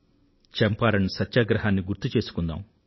చంపారణ్ సత్యాగ్రహాన్నిగుర్తు చేసుకుందాం